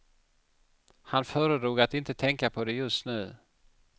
Han föredrog att inte tänka på det just nu.